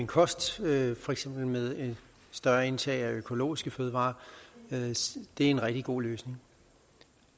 kost ved for eksempel større indtag af økologiske fødevarer det er en rigtig god løsning